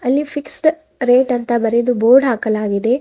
ಅಲ್ಲಿ fixed rate ಅಂತ ಬರೆದು ಬೋರ್ಡ್ ಹಾಕಲಾಗಿದೆ.